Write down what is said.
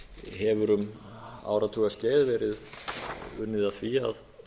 hefur um áratugaskeið verið unnið að því að